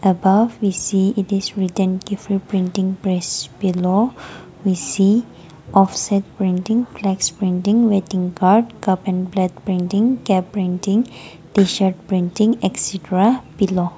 the above image it is written different printing press below busy of set printing flex printing wedding card cup and painting cap printing tshirt printing extra below.